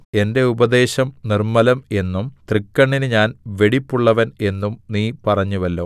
എന്റെ ഉപദേശം നിർമ്മലം എന്നും തൃക്കണ്ണിന് ഞാൻ വെടിപ്പുള്ളവൻ എന്നും നീ പറഞ്ഞുവല്ലോ